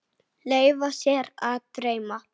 Leyfa sér að dreyma.